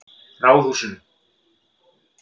Ráðhúsinu